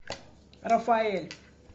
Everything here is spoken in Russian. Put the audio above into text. рафаэль